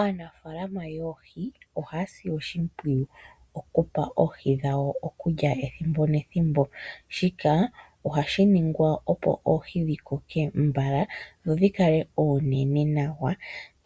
Aanafaalama yoohi oha ya si oshimpwiyu okupa oohi dhawo okulya ethimbo nethimbo. Shika ohashi ningwa opo oohi dhi koke mbala dho dhi kale oonene nawa